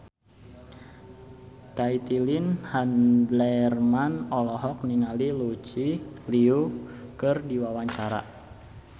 Caitlin Halderman olohok ningali Lucy Liu keur diwawancara